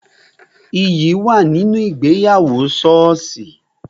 Iyì wà nínú ìgbéyàwó soosi